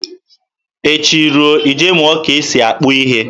Echi ruo, ị je mụọ ka e si akpụ ihe.